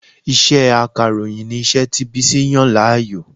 Iṣẹ́ Akàròyìn ni iṣẹ́ tí Bísí yàn láàyò